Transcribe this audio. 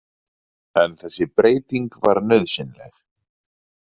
En þessi breyting var nauðsynleg.